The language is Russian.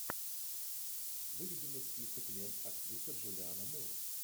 выведи мне список лент актриса джулианна мур